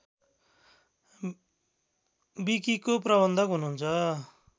विकिको प्रबन्धक हुनुहुन्छ